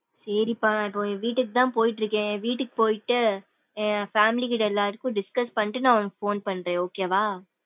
சேரிப்பா. நான் இப்போ வீட்டுக்கு தான் போயிட்டு இருக்கேன் வீட்டுக்கு போயிட்டு என் family கிட்ட எல்லாருக்கும் discuss பண்ணிட்டு நா உனக்கு phone பன்றேன் okay வா.